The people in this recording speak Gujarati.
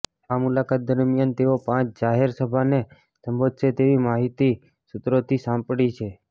આ મુલાકાત દરમિયાન તેઓ પાંચ જાહેર સભાને સંબોધશે તેવી માહિતી સૂત્રો પાસેથી સાંપડી છે